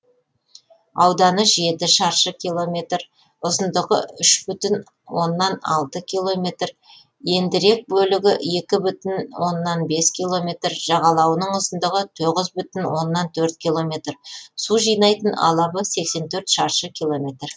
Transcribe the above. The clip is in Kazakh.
ауданы жеті шаршы километр ұзындығы үш бүтін оннан алты километр ендірек бөлігі екі бүтін оннан бес километр жағалауының ұзындығы тоғыз бүтін оннан төрт километр су жинайтын алабы сексен төрт шаршы километр